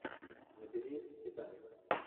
набери титаник